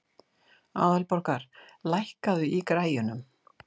Aðalborgar, lækkaðu í græjunum.